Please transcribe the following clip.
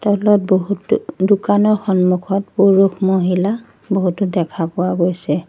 তলত বহুতো দোকানৰ সন্মুখত পুৰুষ মহিলা বহুতো দেখা পোৱা গৈছে।